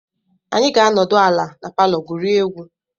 Anyị ga-anọdụ ala na palọ gwurie egwu.